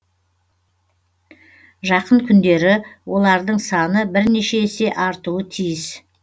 жақын күндері олардың саны бірнеше есе артуы тиіс